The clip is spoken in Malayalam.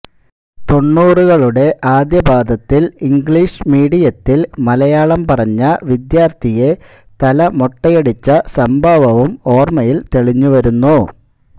തൊണ്ണൂറുകളുടെ ആദ്യപാദത്തിൽ ഇംഗ്ലീഷ് മീഡിയത്തിൽ മലയാളം പറഞ്ഞ വിദ്യാർത്ഥിയെ തല മൊട്ടയടിച്ച സംഭവവും ഓർമ്മയിൽ തെളിഞ്ഞു വരുന്നു